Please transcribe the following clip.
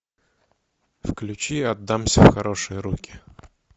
включи отдамся в хорошие руки